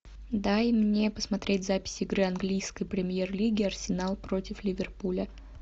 дай мне посмотреть запись игры английской премьер лиги арсенал против ливерпуля